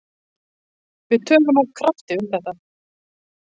Við töluðum af krafti um þetta.